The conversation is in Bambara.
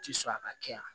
Ti sɔrɔ a ka kɛ yan